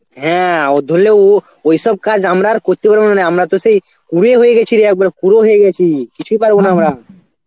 হ্যাঁ ও ধরলে ও ওইসব কাজ আমরা আর করতে পারবোনা, আমরা তো সেই কুড়ে হয়ে গেছি রে একবারে কুড়ে হয়ে গেছি, কিছু পারবো না আমরা এখন